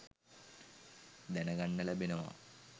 දැනගන්න ලැබෙනවා.